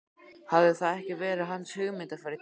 Hafði það ekki verið hans hugmynd að fara í Tívolí?